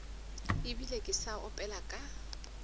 ebile ke sa opela ka